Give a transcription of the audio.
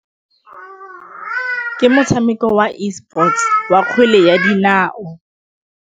Ke motshameko wa Esports wa kgwele ya dinao.